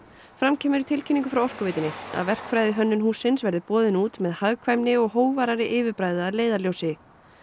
fram kemur í tilkynningu frá Orkuveitunni að verkfræðihönnun hússins verði boðin út með hagkvæmni og yfirbragði að leiðarljósi